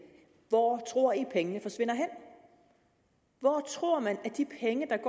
hvor tror at pengene forsvinder hen hvor tror man at de penge der